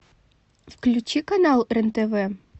включи канал рен тв